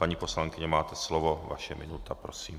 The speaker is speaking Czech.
Paní poslankyně, máte slovo, vaše minuta, prosím.